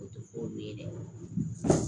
O tɛ foyi ye dɛ